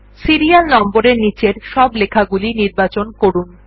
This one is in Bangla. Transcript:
সিরিয়াল নম্বর এর নীচের সব লেখাগুলি নির্বাচন করুন